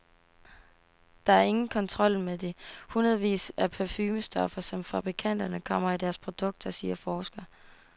Der er ingen kontrol med de hundredvis af parfumestoffer, som fabrikanterne kommer i deres produkter, siger forsker.